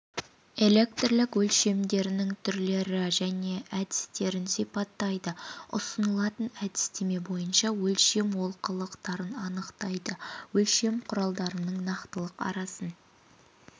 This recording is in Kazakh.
электрлік өлшемдерінің түрлері мен әдістерін сипаттайды ұсынылатын әдістеме бойынша өлшем олқылықтарын анықтайды өлшем құралдарының нақтылық арасын